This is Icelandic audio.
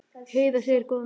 Heiða segir góðan daginn!